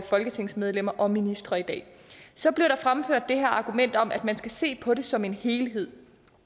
folketingsmedlemmer og ministre i dag så blev der fremført det her argument om at man skal se på det som en helhed